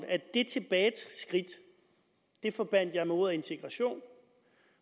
at det tilbageskridt forbandt jeg med ordet integration